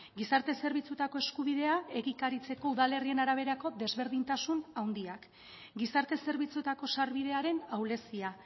gizarte zerbitzuetako eskubidea egikaritzeko udalerrien araberako desberdintasun handiak gizarte zerbitzuetako sarbidearen ahulezia